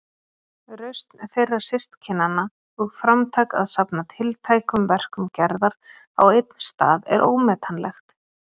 Rausn þeirra systkinanna og framtak að safna tiltækum verkum Gerðar á einn stað er ómetanlegt.